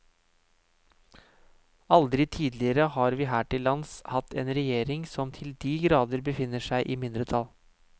Aldri tidligere har vi her til lands hatt en regjering som til de grader befinner seg i mindretall.